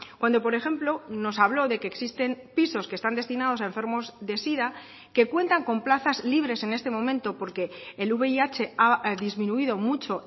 cuando por ejemplo nos habló de que existen pisos que están destinados a enfermos de sida que cuentan con plazas libres en este momento porque el vih ha disminuido mucho